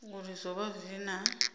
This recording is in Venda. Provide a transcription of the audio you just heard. uri zwo vha zwi na